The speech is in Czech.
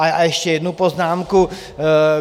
A ještě jednu poznámku.